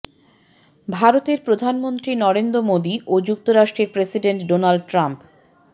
ভারতের প্রধানমন্ত্রী নরেন্দ্র মোদি ও যুক্তরাষ্ট্রের প্রেসিডেন্ট ডোনাল্ড ট্রাম্প